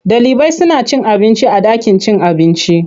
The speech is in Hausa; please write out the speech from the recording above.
Ɗalibai suna cin abinci a ɗakin cin abinci.